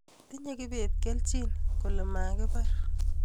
Tinye kibet Kelchin kole makibar